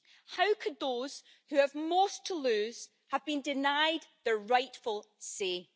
How could those who have most to lose have been denied their rightful say?